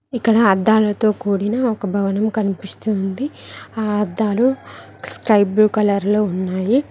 ఇక్కడ అద్దాలతో కూడిన ఒక భవనం కనిపిస్తుంది ఆ అద్దాలు స్కైబ్లూ కలర్లో ఉన్నాయి.